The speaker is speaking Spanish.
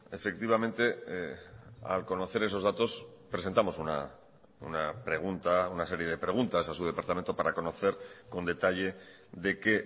efectivamente al conocer esos datos presentamos una pregunta una serie de preguntas a su departamento para conocer con detalle de qué